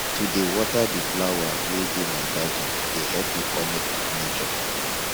to dey water di flower wey dey my garden dey help me connect wit nature